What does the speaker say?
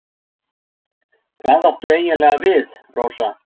Hvað áttu eiginlega við, Rósa?